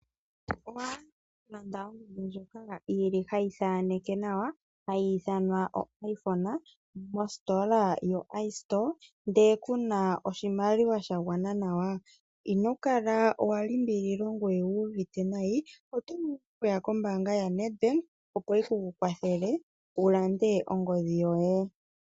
Owa hala okulanda ongodhi ndjoka hayi thaneke nawa, hayi ithanwa oIphone mostola yoIstore, ndele ku na oshimaliwa sha gwana nawa? Ino kala wa limbililwa ngoye owu uvite nayi. Oto vulu okuya kombaanga yaNedbank, opo yi ku kwathele wu lande ongodhi yoye.